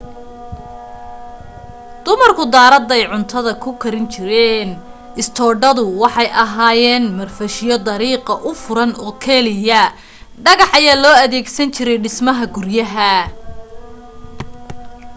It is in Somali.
dumarku daaraday cuntada ku karin jireen istoodhadu waxay ahaayeen marfashyo dariiqa u furan oo keliya dhagax ayaa loo adeegsan jiray dhismaha guryaha